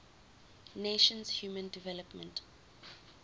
nations human development